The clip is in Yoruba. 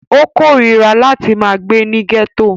Ó kóríra láti ma gbé ní gẹ́tò